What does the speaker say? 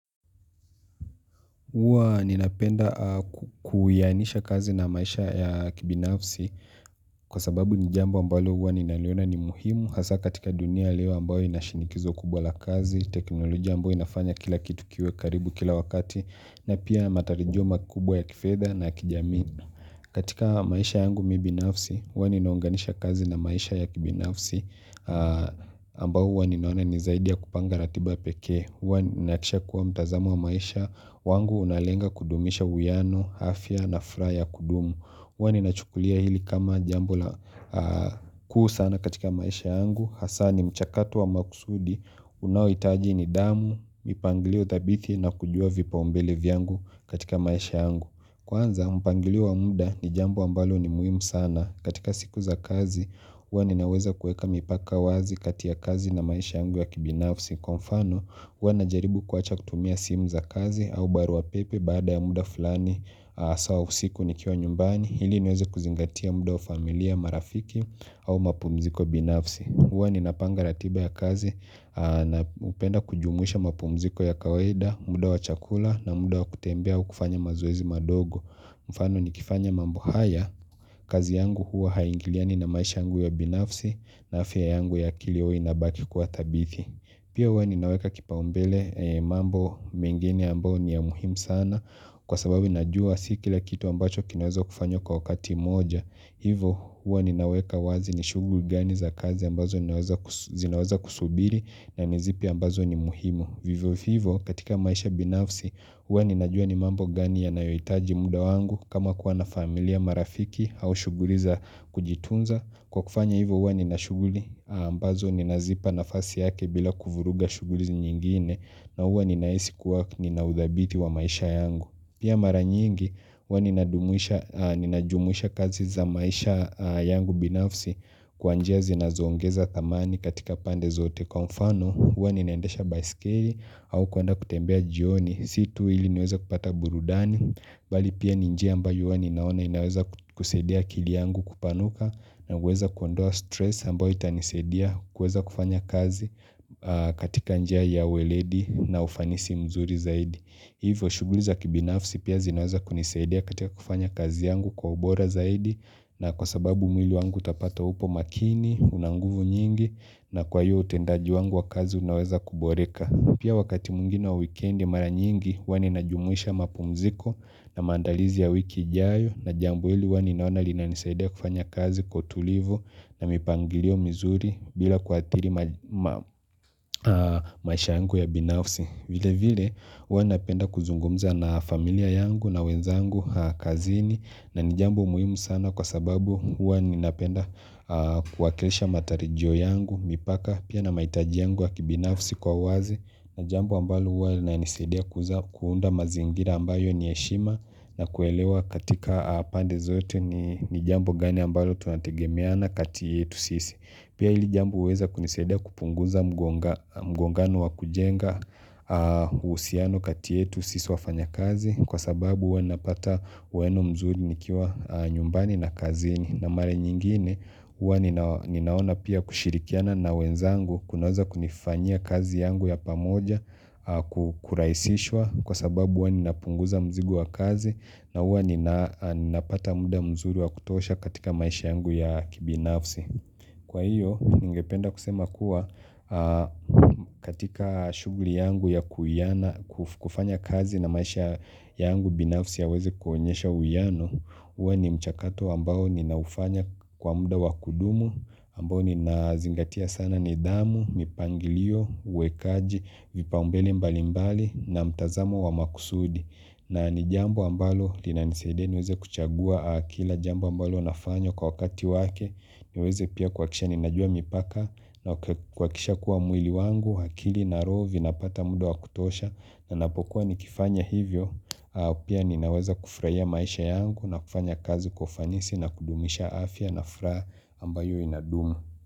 Huwa ninapenda kuyanisha kazi na maisha ya kibinafsi kwa sababu ni jambo ambalo huwa ninaliona ni muhimu Hasa katika dunia lewa ambayo inashinikizo kubwa la kazi, teknolojia ambayo inafanya kila kitu kiwe karibu kila wakati na pia matarijio makubwa ya kifedha na ya kijamii katika maisha yangu mimi binafsi, huwa ninaunganisha kazi na maisha ya kibinafsi ambao huwa ninaona nizaidia kupanga ratiba peke Huwa ninahakikisha kuwa mtazamo wa maisha wangu unalenga kudumisha uyiano, afya na furaha ya kudumu Huwa ninachukulia hili kama jambo la kuu sana katika maisha yangu hasa ni mchakato wa makusudi unaohitaji ni damu, mipangilio thabithi na kujua vipao mbele vyangu katika maisha yangu Kwanza, mpangilio wa muda ni jambo ambalo ni muhimu sana katika siku za kazi, huwa ni naweza kuweka mipaka wazi katia kazi na maisha yangu ya kibinafsi kwa mfano huwa na jaribu kuwacha kutumia simu za kazi au barua pepe baada ya muda fulani saa usiku nikiwa nyumbani ili niweze kuzingatia muda wa familia marafiki au mapumziko binafsi huwa ni napanga ratiba ya kazi napenda kujumuisha mapumziko ya kawaida, muda wa chakula na muda wa kutembea ua kufanya mazoezi madogo mfano nikifanya mambo haya, kazi yangu huwa haingiliani na maisha yangu ya binafsi na afya yangu ya kilio inabaki kwa thabithi Pia huwa ninaweka kipao mbele mambo mingine ambao ni ya muhimu sana kwa sababu najua si kila kitu ambacho kinaweza kufanywa kwa wakati moja. Hivo huwa ninaweka wazi ni shughuli gani za kazi ambazo ninaweza zinaweza kusubiri na ni zipi ambazo ni muhimu. Vivo hivyo katika maisha binafsi huwa ninajua ni mambo gani yanayohitaji muda wangu kama kuwa na familia marafiki au shughuli za kujitunza. Kwa kufanya hivyo huwa nina shughuli ambazo ninazipa na fasi yake bila kuvuruga shughuli nyingine na huwa ninahisi kuwa ninaudhabiti wa maisha yangu. Pia mara nyingi huwa ninajumuisha ninajumuisha kazi za maisha yangu binafsi kwa njia zinazoongeza thamani katika pande zote. Kwa mfano huwa ninaendesha baiskeli au kwenda kutembea jioni. Situ ili niweza kupata burudani, bali pia ni njia mbao huwa ninaona inaweza kusaidia akili yangu kupanuka na kuweza kuondoa stress ambayo itanisaidia kuweza kufanya kazi katika njia ya weledi na ufanisi mzuri zaidi hivyo shughuli za kibinafsi pia zinaweza kunisaidia katika kufanya kazi yangu kwa ubora zaidi na kwa sababu mwili wangu utapata upo makini, una nguvu nyingi na kwa hiyo utendaji wangu wa kazi unaweza kuboreka Pia wakati mwingine wa weekendi mara nyingi huwa ninajumuisha mapumziko na mandaalizi ya wiki ijayo na jambo hili hua ninaona lina nisaidia kufanya kazi kwa utulivu na mipangilio mizuri bila kuathiri ma maisha yangu ya binafsi. Vile vile huwa napenda kuzungumza na familia yangu na wenzangu kazini na ni jambo muhimu sana kwa sababu huwa napenda kuwakilisha matarijyo yangu mipaka pia na mahitaji yangu ya kibinafsi kwa wazi na jambo ambalo huwa inanisedia kuunda mazingira ambayo ni ya heshima na kuelewa katika pande zote ni jambo gani ambalo tunategemeana kati yetu sisi Pia ili jambo huweza kunisedia kupunguza mgonga mgongano wa kujenga uhusiano kati yetu siso wafanya kazi kwa sababu huwa napata ueno mzuri nikiwa nyumbani na kazini na mara nyingine huwa nina ninaona pia kushirikiana na wenzangu kunaweza kunifanyia kazi yangu ya pamoja ku kurahisishwa kwa sababu huwa inapunguza mzigo wa kazi na huwa ninapata muda mzuri wa kutosha katika maisha yangu ya kibinafsi Kwa hiyo, ningependa kusema kuwa katika shughuli yangu ya kuwiana kufanya kazi na maisha yangu binafsi yaweze kuonyesha uhuyiano, uwe ni mchakato ambao ninaufanya kwa muda wakudumu, ambao ninazingatia sana ni damu, mipangilio, uwekaji, vipa umbele mbali mbali na mtazamo wa makusudi. Na ni jambo ambalo linanisaidia niweze kuchagua kila jambo ambalo nafanya kwa wakati wake niweze pia kuhakikisha ninajua mipaka na kuhakikisha kuwa mwili wangu, akili na roho zinapata muda wa kutosha ninapokuwa ni kifanya hivyo, pia ninaweza kufurahia maisha yangu na kufanya kazi kwa ufanisi na kudumisha afya na furaha ambayo inadumu.